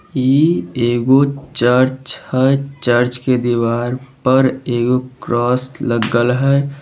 इ एगो चर्च हेय चर्च के दीवार पर एक क्रोस लागल हय।